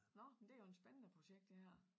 Nå men det jo en spændende projekt det her